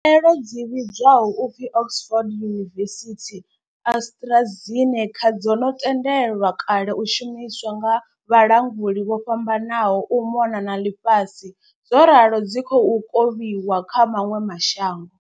Khaelo dzi vhidzwaho u pfi Oxford University-AstraZeneca dzo no tendelwa kale u shumiswa nga vhalanguli vho fhambananaho u mona na ḽifhasi zworalo dzi khou kovhiwa kha maṅwe ma shango.